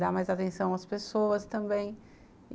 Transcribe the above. dar mais atenção às pessoas também.